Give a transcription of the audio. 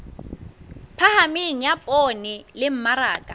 phahameng ya poone le mmaraka